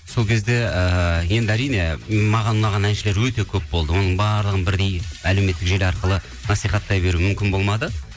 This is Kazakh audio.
сол кезде ыыы енді әрине маған ұнаған әншілер өте көп болды оның барлығын бірдей әлеуметтік желі арқылы насихаттай беру мүмкін болмады